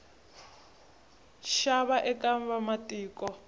nxava eka vamatiko